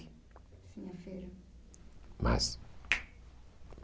Sim, a Feira. Mas